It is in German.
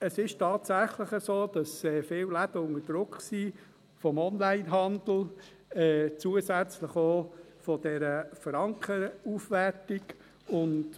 Es ist tatsächlich so, dass viele Läden unter Druck vonseiten des Onlinehandels stehen, zusätzlich auch von der Frankenaufwertung.